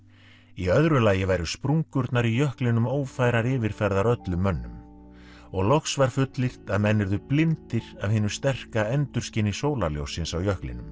í öðru lagi væru sprungurnar í jöklinum ófærar yfirferðar öllum mönnum og og loks var fullyrt að menn yrðu blindir af hinu sterka endurskini sólarljóssins á jöklinum